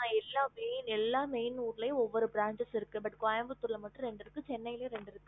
ஆஹ் எல்லா main எல்லா main ஊருலயும் ஒவ்வொரு branches இருக்கு but கோயம்புத்தூர் ல மட்டும் ரெண்டு இருக்கு சென்னைலையும் ரெண்டு இருக்கு